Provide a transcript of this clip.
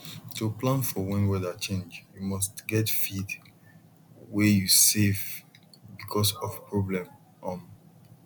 to plan for when weather change you must get feed way u save because of problem um